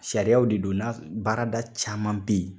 Sariyaw de do n'a so baarada caman be yen